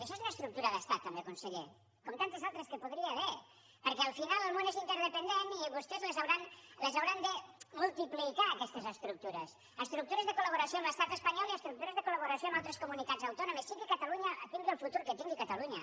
això és una estructura d’estat també conseller com tantes altres que hi podria haver perquè al final el món és interdependent i vostès les hauran de multiplicar aquestes estructures estructures de col·laboració amb l’estat espanyol i estructures de col·laboració amb altres comunitats autònomes tingui el futur que tingui catalunya